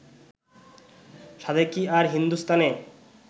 সাধে কি আর হিন্দুস্থানে